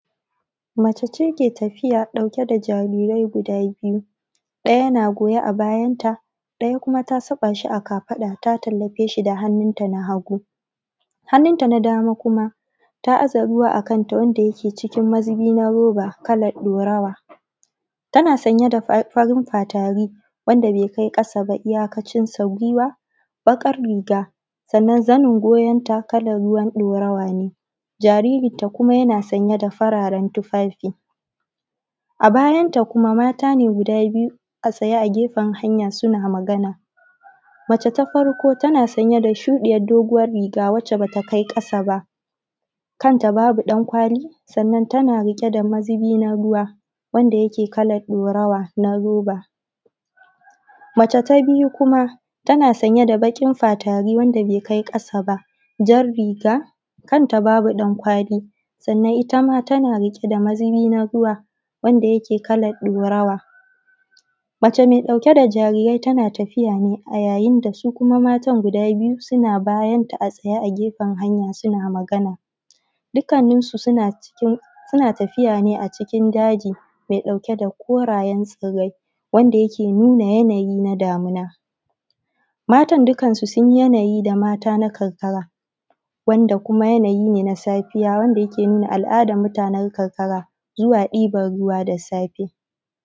Mace ce ke tafiya ɗauke da jarirai guda biyu, ɗaya na goye a bayanta, ɗaya kuma ta saɓashi a kafaɗanta, ta tallafeshi da hannunta na hagu. hannunta na dama kuma ta aza ruwa a kanta wanda ke cikin mazubi na roba kalar ɗorawaa. tana sanje da farin fatari wanda bai kai ƙasa ba, iyakacinsa guiwa, baƙar riga, sannan zanin goyonta kalar ruwan ɗorawa ne. jaririnta kuma yana sanye da fararen tufafi. Abayanta kuma mata ne gudaa biyu a tsaye a gefen hanya suna magana. Mace ta farko tanaa sanye da shuɗiyar doguwar riga wacce bata kai ƙasa ba, kanta babu ɗankwali, sannan tana ɗauke da mazubi na ruwa wanda yake kalar ɗorawa na roba. Mace ta biyu kuma, tana sanye da baƙin fatari wanda bai kai ƙasa ba, jan riga, kanta babu ɗankwaali, sannan ita ma tana riƙe da mazubi na ruwa wanda yake kalan ɗorawa. Mace mai ɗauke da jariirai tana tafiya ne a yayin da su kuma matan guda biyu, suna bayanta a tsayee a gefen hanya suna magana. Dukkanninsu suna tafiya ne a cikin daji mai ɗauke da korayen tsirrai wanda yake nuna yanayi na damina. Matan dukkansu sun yi yanayi da mata na karkara wanda kuma yanayi ne na safiya wanda ya ke nuna alˀadar mutanen karkara na zuwa ɗiban ruwa da safe.